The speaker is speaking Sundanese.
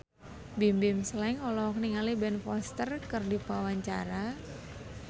Bimbim Slank olohok ningali Ben Foster keur diwawancara